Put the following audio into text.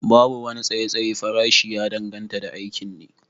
Babu wani tsayayyen farashi, ya danganta da aikin ne